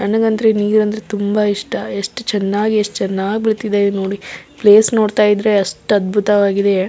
ನನಗೆ ಅಂದ್ರೆ ನೀರಂದ್ರೆ ತುಂಬ ಇಷ್ಟ ಎಷ್ಟು ಚೆನ್ನಾಗಿ ಎಷ್ಟು ಚೆನ್ನಾಗಿ ಬಿಳ್ತಿದೆ ನೋಡಿ ಪ್ಲೇಸ್ ನೋಡತಾಯಿದ್ರೆ ಅಷ್ಟು ಅದ್ಭುತವಾಗಿದೆ --